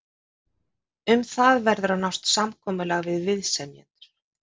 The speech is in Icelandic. Um það verður að nást samkomulag við viðsemjendur.